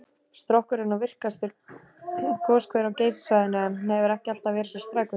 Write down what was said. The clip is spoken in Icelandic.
Strokkur er nú virkastur goshver á Geysissvæðinu, en hann hefur ekki alltaf verið svo sprækur.